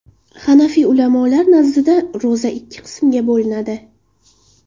Hanafiy ulamolar nazdida ro‘za ikki qismga bo‘linadi.